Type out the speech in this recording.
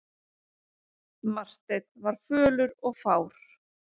Marteinn var fölur og fár.